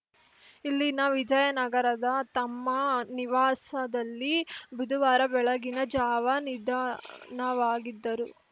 ಇಲ್ಲಿನ ವಿಜಯನಗರದ ತಮ್ಮ ನಿವಾಸದಲ್ಲಿ ಬುಧವಾರ ಬೆಳಗಿನ ಜಾವ ನಿಧನವಾಗಿದ್ದರು